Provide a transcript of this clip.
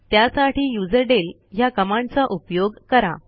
त्यासाठी युझरडेल ह्या कमांडचा उपयोग करा